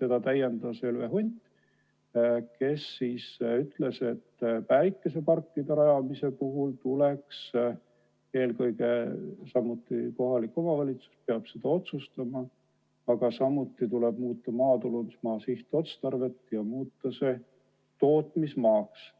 teda täiendas Helve Hunt, kes ütles, et päikeseparkide rajamise puhul peaks samuti eelkõige kohalik omavalitsus asja otsustama, aga selgi juhul tuleb muuta maatulundusmaa sihtotstarvet ja muuta see tootmismaaks.